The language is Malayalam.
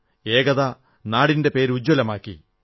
ഏകത നാടിന്റെ പേര് ഉജ്ജ്വലമാക്കി